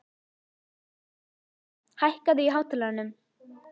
Rikharð, hækkaðu í hátalaranum.